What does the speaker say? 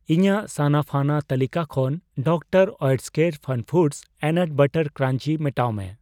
ᱤᱧᱟᱜ ᱥᱟᱱᱟᱯᱷᱟᱱᱟ ᱛᱟᱹᱞᱤᱠᱟ ᱠᱷᱚᱱ ᱰᱤᱟᱨᱹ ᱳᱭᱮᱴᱠᱮᱨ ᱯᱷᱟᱱᱯᱷᱩᱰᱚᱥ ᱚᱤᱱᱟᱴ ᱵᱟᱨᱟᱴ ᱠᱨᱟᱧᱡᱤ ᱢᱮᱴᱟᱣ ᱢᱮ ᱾